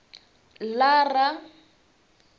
lara